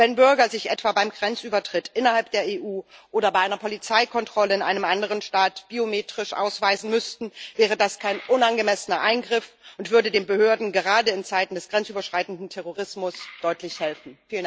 Wenn Bürger sich etwa beim Grenzübertritt innerhalb der EU oder bei einer Polizeikontrolle in einem anderen Staat biometrisch ausweisen müssten, wäre das kein unangemessener Eingriff und würde den Behörden gerade in Zeiten des grenzüberschreitenden Terrorismus deutlich helfen.